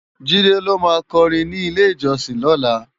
Jide ló má kòrin ni ilé-ijòsin lòlá